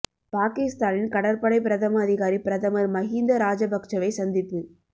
பாகிஸ்தானின் கடற்படை பிரதம அதிகாரி பிரதமர் மஹிந்த ராஜபக்சவை சந்திப்பு